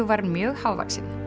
var mjög hávaxinn